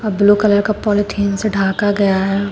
Blue colour का polythene से ढका गया है।